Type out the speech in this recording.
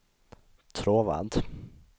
Tråvad